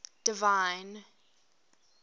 divine